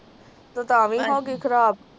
ਤੂੰ ਤਾ ਵੀ ਹੋਗੀ ਖਰਾਬ